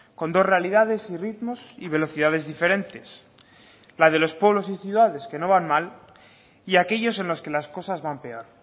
con dos realidades y ritmos y velocidades diferentes la de los pueblos y ciudades que no van mal y aquellos en los que las cosas van peor